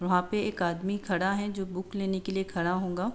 वहाँ पे एक आदमी खड़ा है जो बूक लेने के लिए खड़ा होगा --